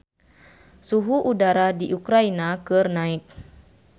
Suhu udara di Ukraina keur naek